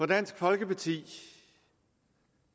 dansk folkeparti